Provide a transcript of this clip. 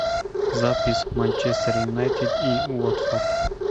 запись манчестер юнайтед и уотфорд